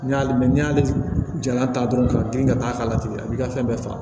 N'i y'ale mɛn n'i y'ale jala ta dɔrɔn ka girin ka taa k'a la tigɛ a b'i ka fɛn bɛɛ faga